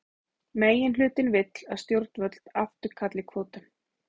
Meirihlutinn vill að stjórnvöld afturkalli kvótann